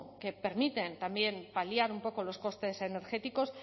que permiten paliar un poco los costes energéticos